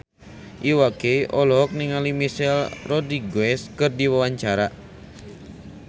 Iwa K olohok ningali Michelle Rodriguez keur diwawancara